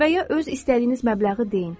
Və ya öz istədiyiniz məbləği deyin.